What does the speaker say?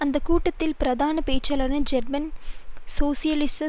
அந்த கூட்டத்தில் பிரதான பேச்சாளர்கள் ஜெர்மன் சோசியலிச